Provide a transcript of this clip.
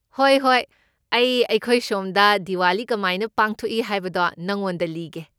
ꯍꯣꯏ ꯍꯣꯏ, ꯑꯩ ꯑꯩꯈꯣꯏ ꯁꯣꯝꯗ ꯗꯤꯋꯥꯂꯤ ꯀꯃꯥꯏꯅ ꯄꯥꯡꯊꯧꯛꯏ ꯍꯥꯏꯕꯗꯣ ꯅꯉꯣꯟꯗ ꯂꯤꯒꯦ꯫